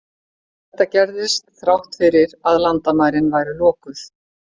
Þetta gerðist þrátt fyrir að landamærin væru lokuð.